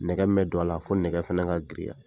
Nɛgɛ mun bɛ don a la , f'o nɛgɛ fɛnɛ ka giriya.